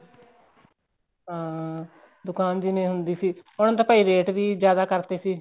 ਹਾਂ ਦੁਕਾਨ ਜਿਵੇਂ ਹੁੰਦੀ ਸੀ ਉਹਨੇ ਤਾਂ ਭਾਈ ਰੇਟ ਵੀ ਜਿਆਦਾ ਕਰਤੇ ਸੀ